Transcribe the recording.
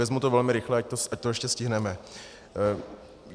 Vezmu to velmi rychle, ať to ještě stihneme.